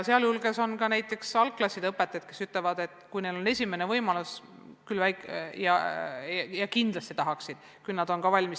Näiteks algklasside õpetajad ütlevad, et nad on esimesel võimalusel valmis tulema ja kindlasti tahaksid seda, nad on valmis.